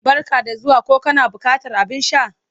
Barka da zuwa ko kana buƙatar abin sha?